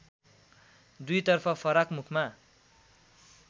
दुईतर्फ फराक मुखमा